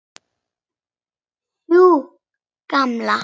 Sú gamla?